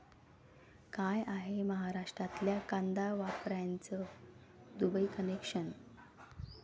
काय आहे महाराष्ट्रातल्या कांदा व्यापाऱ्याचं 'दुबई कनेक्शन'?